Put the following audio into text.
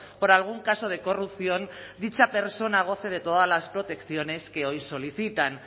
por algún caso de corrupción dicha persona goce de todas las protecciones que hoy solicitan